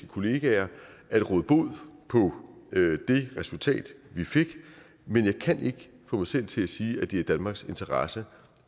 kollegaer at råde bod på det resultat vi fik men jeg kan ikke få mig selv til at sige at det er i danmarks interesse